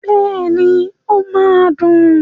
Bẹ́ẹ̀ni, ó máa dùn.